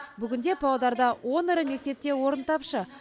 бүгінде павлодарда он ірі мектепте орын тапшы